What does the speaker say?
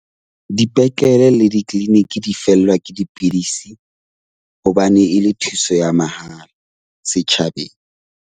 Dipetlele le di-clinic di fellwa ke dipidisi hobane e le thuso ya mahala setjhabeng.